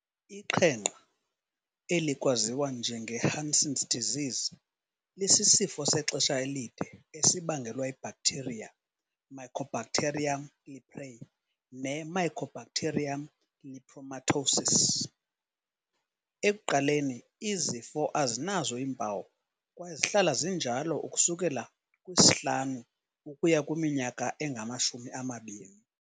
Iqhenqa, elikwaziwa njengo-Hansen's disease lisisifo sexesha elide esibangelwa yi-bacteria Mycobacterium leprae ne-Mycobacterium lepromatosis. Ekuqaleni, izifo azinazo iimpawu kwaye zihlala zinjalo ukusukela kwisi-5 ukuya kwiminyaka engama-20.